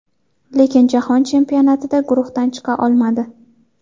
Lekin Jahon chempionatida guruhdan chiqa olmadi.